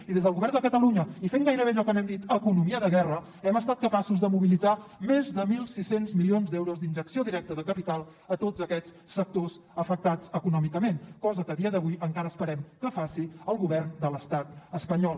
i des del govern de catalunya i fent gairebé allò que n’hem dit economia de guerra hem estat capaços de mobilitzar més de mil sis cents milions d’euros d’injecció directa de capital a tots aquests sectors afectats econòmicament cosa que el dia d’avui encara esperem que faci el govern de l’estat espanyol